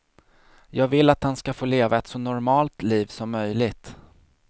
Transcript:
Jag vill att han ska få leva ett så normalt liv som möjligt.